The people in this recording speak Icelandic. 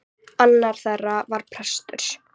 Annar þeirra var prestur.